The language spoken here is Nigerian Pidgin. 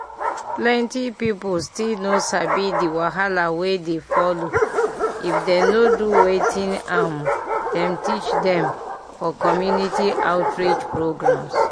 plenty people still no sabi the wahala wey dey follow if dem no do wetin um dem teach dem for community outreach programs.